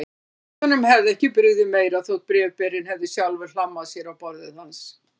Forsetanum hefði ekki brugðið meira þótt bréfberinn hefði sjálfur hlammað sér á borðið hans.